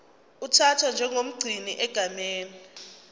uthathwa njengomgcini egameni